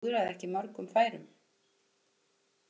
Hann klúðraði ekki mörgum færum.